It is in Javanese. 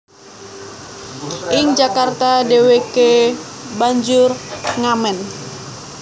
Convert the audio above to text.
Ing Jakarta dheweke banjur ngamen